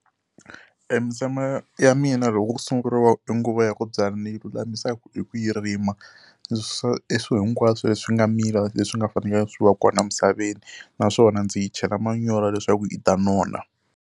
E misava ya mina loko ku sunguriwa nguva ya ku byala ni yi lulamisaka hi ku yi rima. Ndzi susa e swilo hinkwaswo leswi nga mila leswi nga fanelangi swi wa kona emisaveni naswona ndzi yi chela manyoro leswaku yi ta nona.